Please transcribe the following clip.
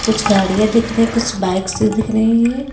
कुछ गाड़ियां दिख रही हैं कुछ बाइक्स दिख रही हैं।